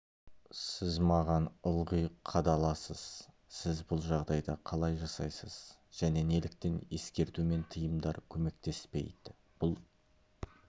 сіз маған ылғи қадаласыз сіз бұл жағдайда қалай жасайсыз және неліктен ескерту мен тыйымдар көмектеспейді бұл